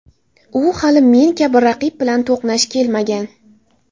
U hali men kabi raqib bilan to‘qnash kelmagan.